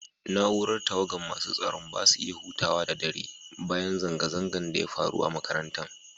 Naúrar tawagan masun tsaron ba su iya huta da dare ba dan zanga-zangan da ya faru a'makarantan.